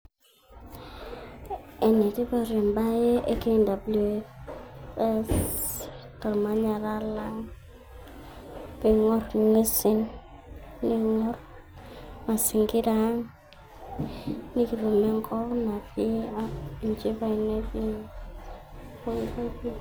Ene tipat embae e KWS tormanyara lang peingor ingwesin ,neingor masingira aang nikitum enkop natii enchipai netii pooki toki.